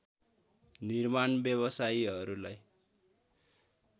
निर्माण व्यवसायीहरूलाई